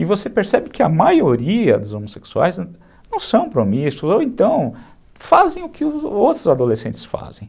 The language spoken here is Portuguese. E você percebe que a maioria dos homossexuais não são promíscuos, ou então fazem o que os outros adolescentes fazem.